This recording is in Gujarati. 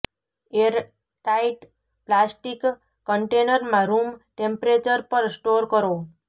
એર ટાઇટ પ્લાસ્ટિક કન્ટેનરમાં રૂમ ટેમ્પ્રેચર પર સ્ટોર કરો